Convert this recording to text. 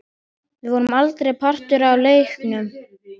Við vorum aldrei partur af leiknum.